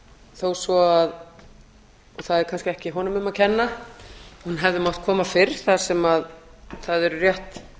þó svo það sé kannski ekki honum um að kenna hún hefði mátt koma fyrr þar sem eru rétt